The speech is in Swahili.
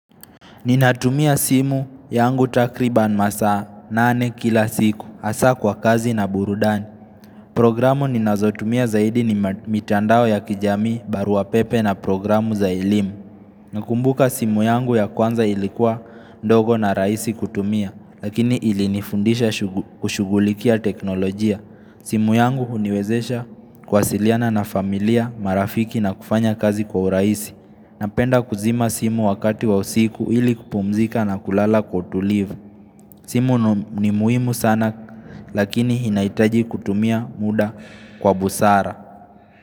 Ninatumia simu yangu takriban masaa nane kila siku, hasa kwa kazi na burudani. Programu ninazotumia zaidi ni mitandao ya kijamii, barua pepe na programu za elimu. Nakumbuka simu yangu ya kwanza ilikuwa ndogo na rahisi kutumia, lakini ilinifundisha shughu kushugulikia teknolojia. Simu yangu huniwezesha kuwasiliana na familia, marafiki na kufanya kazi kwa urahisi. Napenda kuzima simu wakati wa usiku ili kupumzika na kulala kwa utulivu. Simu ni muhimu sana lakini inaitaji kutumia muda kwa busara.